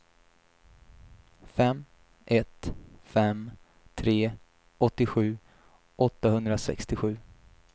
fem ett fem tre åttiosju åttahundrasextiosju